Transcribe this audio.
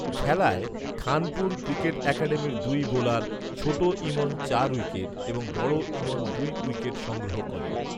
খেলায় খানপুর ক্রিকেট একাডেমীর দুই বোলার ছোট ইমন চার উইকেট এবং বড় ইমন দুই উইকেট সংগ্রহ করে